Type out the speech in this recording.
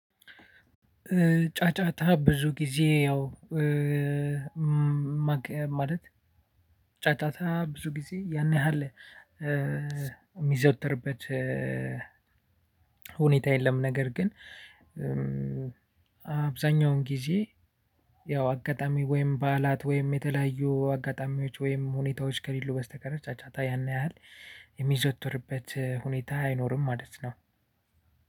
ጫጫታ ብዙ ጊዜ ያው ማለት ጫጫታ ብዙ ጊዜ ያን ያህል የሚዘወተርበት ሁኔታ የለም። ነገር ግን አብዛኛውን ጊዜ ያው አጋጣሚ ወይም በዓላት ወይም የተለያዩ አጋጣሚዎች ወይም ሁኔታዎች ከሌሉ በስተቀር ጫጫታ ያን ያህል የሚዘወተርበት ሁኔታ አይኖርም። ማለት ነው።